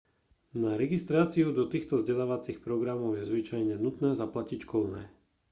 na registráciu do týchto vzdelávacích programov je zvyčajne nutné zaplatiť školné